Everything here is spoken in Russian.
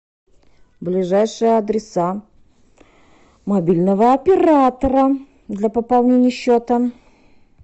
ближайшие адреса мобильного оператора для пополнения счета